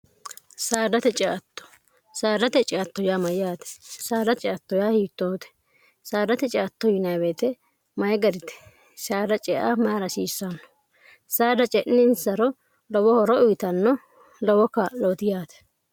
saadate ceatto saadate ciatto yaa mayyaate saada ciatto yaa hiittoote saadate ctto yinwete mayi garite saada cea mayi rasiissanno saada ce'ninsaro lowo horo uyitanno lowo kaa'looti yaate